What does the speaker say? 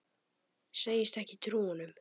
Segist ekki trúa honum.